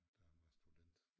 Da han var student